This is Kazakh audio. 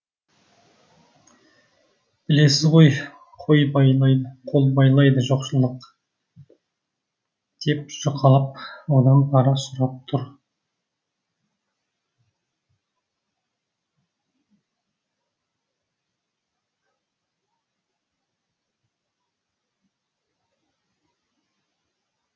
білесіз ғой қол байлайды жоқшылық деп жұқалап одан пара сұрап тұр